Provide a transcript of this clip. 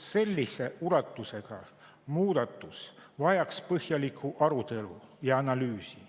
Sellise ulatusega muudatus vajaks põhjalikku arutelu ja analüüsi.